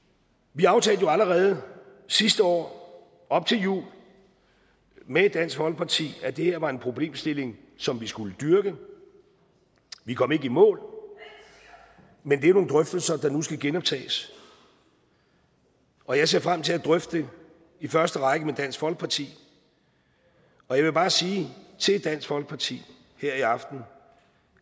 vi aftalte jo allerede sidste år op til jul med dansk folkeparti at det her var en problemstilling som vi skulle dyrke vi kom ikke i mål men det er nogle drøftelser der nu skal genoptages og jeg ser frem til at drøfte det i første række med dansk folkeparti jeg vil bare sige til dansk folkeparti her i aften